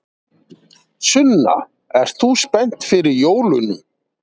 Sunna: Ert þú spennt fyrir jólunum?